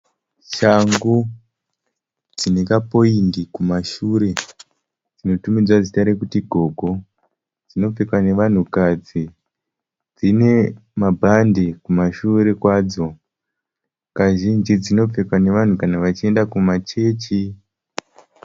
Shangu dzine kapoindi kumashure dzinotumidzwa zita rokuti gogo. Dzinopfekwa nevanhukadzi . Dzine mabhandi kumashure kwadzo, kazhinji dzinopfekwa nevanhu kana vachienda kumachechi.